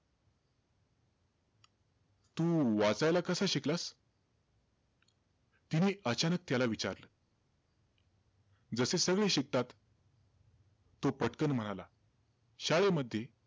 तू वाचायला कसं शिकलास? तिने अचानक त्याला विचारलं. जसे सगळे शिकतात. तो पटकन म्हणाला, शाळेमध्ये.